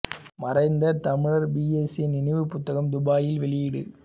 மறைந்த தமிழர் P S A நினைவு புத்தகம் துபாயில் வெளியீடு